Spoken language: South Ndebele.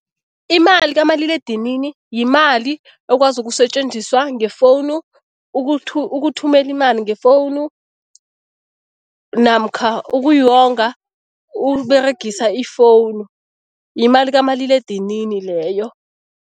Imali kamaliledinini yimali ekwazi ukusetjenziswa ngefowunu, ukuthumela imali ngefowunu namkha ukuyonga Uberegisa ifowunu, yimali kamaliledinini leyo.